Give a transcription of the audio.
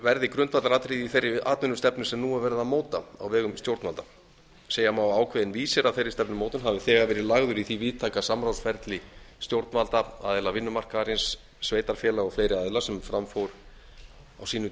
verði grundvallaratriði í þeirri atvinnustefnu sem nú er verið að móta á vegum stjórnvalda segja má að ákveðinn vísir að þeirri stefnumótun hafi þegar verið lagður í því víðtæka samráðsferli stjórnvalda aðila vinnumarkaðarins sveitarfélaga og fleiri aðila sem fram fór á sínum